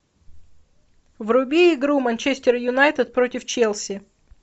вруби игру манчестер юнайтед против челси